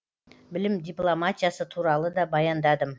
білім дипломатиясы туралы да баяндадым